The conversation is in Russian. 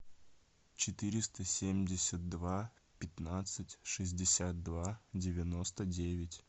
четыреста семьдесят два пятнадцать шестьдесят два девяносто девять